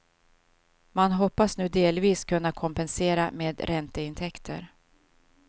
Man hoppas nu delvis kunna kompensera med ränteintäkter.